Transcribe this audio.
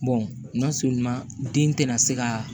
den tɛna se ka